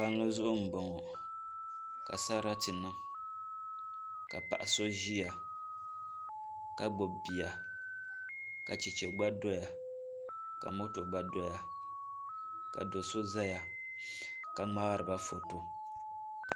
Palli zuɣu n boŋo ka sarati niŋ ka paɣa so ʒiya ka gbubi bia ka chɛchɛ gba doya ka moto gba doya ka do so ʒɛya ka ŋmaariba foto